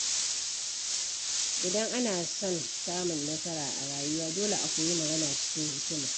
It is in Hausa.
Idan ana son samun nasara a rayuwa, dole a koyi magana cikin hikima.